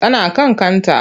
Tana kan kanta.